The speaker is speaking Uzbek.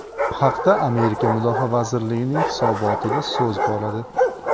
Bu haqda Amerika Mudofaa vazirligining hisobotida so‘z boradi .